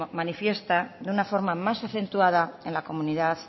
manifiesta de una forma más acentuada en la comunidad